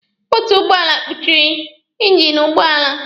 Bọteti ụgbọala kpuchịrị ingini ụgbọala.